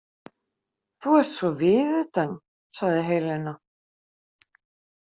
Þú ert svo viðutan, sagði Helena.